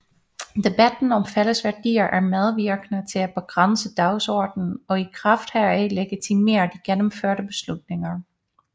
Debatten om fælles værdier er medvirkende til at begrænse dagsordenen og i kraft heraf legitimere de gennemførte beslutninger